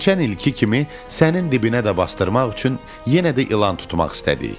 Keçən ilki kimi sənin dibinə də basdırmaq üçün yenə də ilan tutmaq istədik.